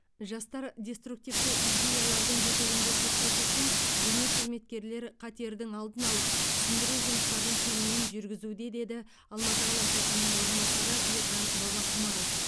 жастар деструктивті идеялардың жетегінде кетпес үшін діни қызметкерлер қатердің алдын алып түсіндіру жұмыстарын кеңінен жүргізуде деді алматы қаласы әкімінің орынбасары ержан бабақұмаров